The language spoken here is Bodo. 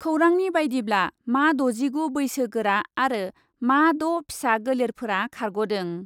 खौरांनि बायदिब्ला, मा द'जिगु बैसो गोरा आरो मा द' फिसा गोलेरफोरा खारग'दों।